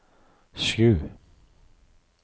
sju